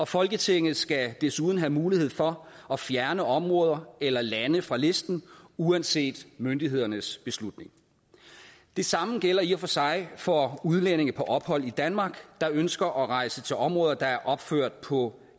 folketinget skal desuden have mulighed for at fjerne områder eller lande fra listen uanset myndighedernes beslutning det samme gælder i og for sig for udlændinge på ophold i danmark der ønsker at rejse til områder der er opført på